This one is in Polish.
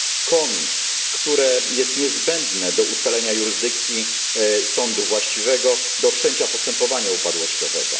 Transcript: COMI, które jest niezbędne do ustalenia jurysdykcji sądu właściwego do wszczęcia postępowania upadłościowego.